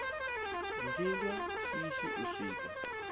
ndi lwa shishi u swika